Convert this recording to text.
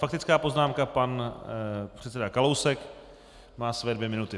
Faktická poznámka pan předseda Kalousek má své dvě minuty.